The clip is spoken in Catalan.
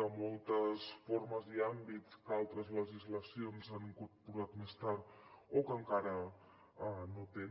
de moltes formes i àmbits que altres legislacions han incorporat més tard o que encara no tenen